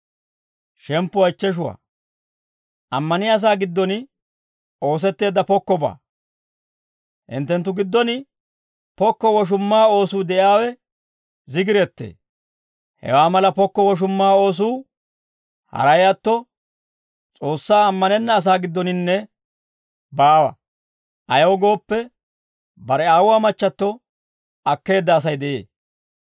Hinttenttu giddon pokko woshumma oosuu de'iyaawe zigirettee; hewaa mala pokko woshumma oosuu haray atto, S'oossaa ammanenna asaa giddoninne baawa. Ayaw gooppe, bare aawuwaa machchatto akkeedda Asay de'ee.